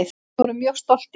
Við vorum mjög stoltir.